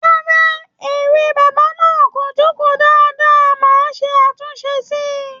Rárá, eré bàbá náà kò jókòó dáadáa, màá ṣe àtúnṣe síi